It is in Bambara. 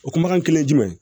O kumakan kelen ye jumɛn ye